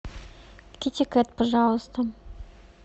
китикет пожалуйста